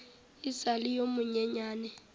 e sa le yo monyenyane